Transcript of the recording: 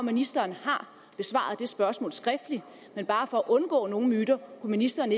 ministeren har besvaret det spørgsmål skriftligt men bare for at undgå myter kunne ministeren